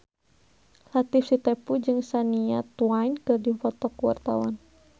Latief Sitepu jeung Shania Twain keur dipoto ku wartawan